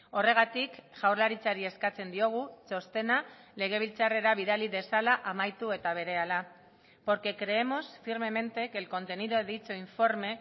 horregatik jaurlaritzari eskatzen diogu txostena legebiltzarrera bidali dezala amaitu eta berehala porque creemos firmemente que el contenido de dicho informe